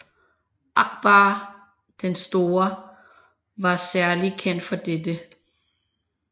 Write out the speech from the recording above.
Akbar den Store var særlig kendt for dette